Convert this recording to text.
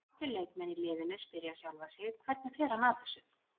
Allir leikmenn í liðinu spyrja sjálfa sig Hvernig fer hann að þessu?